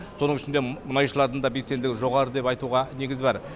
соның ішінде мұнайшылардың да белсенділігі жоғары деп айтуға негіз бар